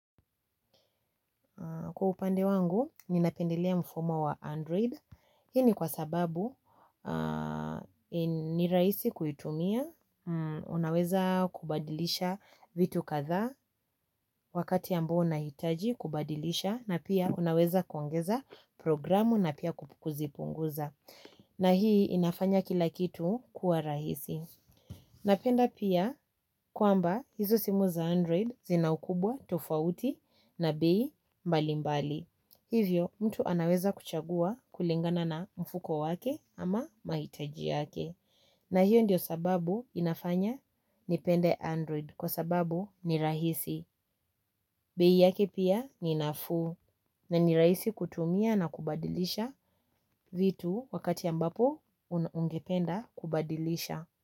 Kwa upande wangu, ninapendelea mfumo wa Android. Hii ni kwa sababu, ni rahisi kuitumia, unaweza kubadilisha vitu kathaa wakati ambao unahitaji kubadilisha na pia unaweza kuongeza programu na pia kuzipunguza. Na hii inafanya kila kitu kuwa rahisi. Napenda pia kwamba hizo simu za android zina ukubwa tofauti na bei mbalimbali. Hivyo mtu anaweza kuchagua kulingana na mfuko wake ama mahitaji yake. Na hiyo ndiyo sababu inafanya nipende android kwa sababu ni rahisi. Bei yake pia ni nafuu na ni rahisi kutumia na kubadilisha. Vitu wakati ambapo ungependa kubadilisha.